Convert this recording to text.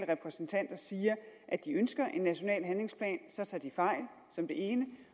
repræsentanter siger at de ønsker en national handlingsplan så tager de fejl